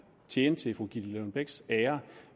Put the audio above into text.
tjene til fru gitte lillelund bechs ære